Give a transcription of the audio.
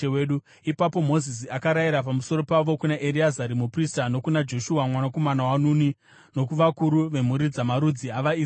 Ipapo Mozisi akarayira pamusoro pavo kuna Ereazari muprista nokuna Joshua mwanakomana waNuni nokuvakuru vemhuri dzamarudzi avaIsraeri.